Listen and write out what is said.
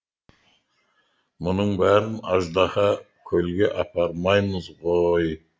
мұның бәрін аждаһа көлге апармаймыз ғой